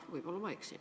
Võib-olla ma eksin.